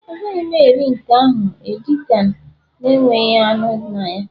Agaghị m eri nke ahụ edi kan, enweghị anụ na ya